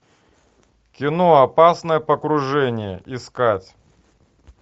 кино опасное погружение искать